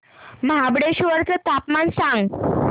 महाबळेश्वर चं तापमान सांग